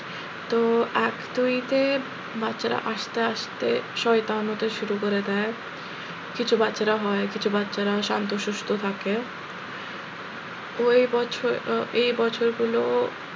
তো এক দুই তে বাচ্চারা আস্তে আস্তে শয়তান হতে শুরু করে দেয় কিছু বাচ্চারা হয় কিছু বাচ্চারা শান্ত সুস্থ থাকে ওই বছর আহ এই বছর গুলো,